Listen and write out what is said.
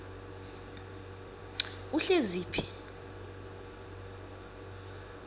uhleziphi